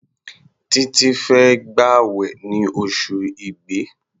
Títí fẹ́ gbàwẹ̀ ní oṣù Igbe.